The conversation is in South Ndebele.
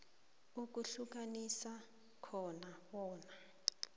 ukuhlukanisa khona bona